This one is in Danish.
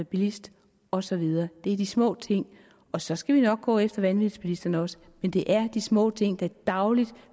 bilist og så videre det er de små ting og så skal vi nok gå efter vanvidsbilisterne også men det er de små ting der dagligt